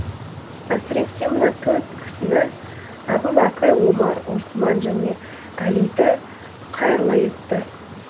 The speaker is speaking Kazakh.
әсіресе мына төрт кісіні әбу бәкір омар осман және әлиді қайырлы етті